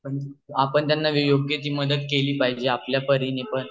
आपण त्यांना योग्य ती मदत केली पाहिजे आपल्या तर्हेने पण